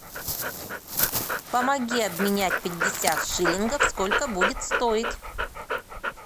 помоги обменять пятьдесят шиллингов сколько будет стоить